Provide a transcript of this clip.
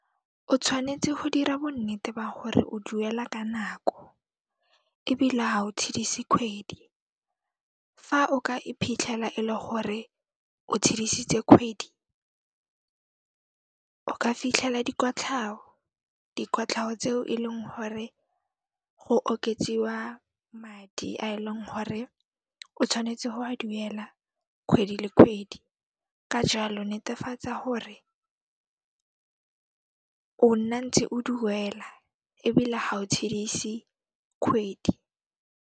O tshwanetse ho dira bonnete ba hore o duela ka nako ebile ha o tshedise kgwedi. Fa o ka iphitlhela e le gore o tshedisitse kgwedi, o ka fitlhela dikotlhao, dikotlhao tseo e leng gore go oketsiwa madi a e leng hore o tshwanetse ho a duela kgwedi le kgwedi, ka jaalo netefatsa hore o nna ntse o duela ebile ha o tshedise kgwedi.